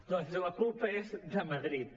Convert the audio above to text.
doncs la culpa és de madrid